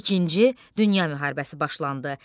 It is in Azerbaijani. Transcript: İkinci Dünya müharibəsi başlandı.